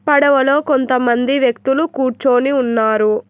పడవలో కొంతమంది వ్యక్తులు కూర్చోని ఉన్నారు.